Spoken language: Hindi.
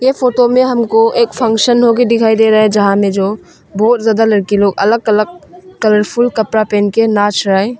ये फोटो में हमको एक फंक्शन दिखाई दे रहा है जहां में जो बहुत ज्यादा लड़की लोग अलग अलग कलरफुल कपड़ा पहन के नाच रहा है।